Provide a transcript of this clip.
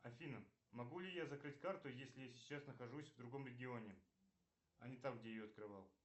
афина могу ли я закрыть карту если сейчас нахожусь в другом регионе а не там где ее открывал